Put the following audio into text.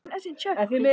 Stutta svarið er útrás.